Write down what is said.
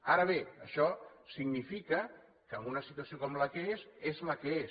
ara bé això significa que en una situació com la que és és la que és